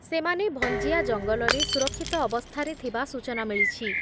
ସେମାନେ ଭଞ୍ଜିଆ ଜଙ୍ଗଲରେ ସୁରକ୍ଷିତ ଅବସ୍ଥାରେ ଥିବା ସୂଚନା ମିଳିଛି।